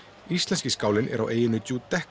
íslenski skálinn er á eyjunni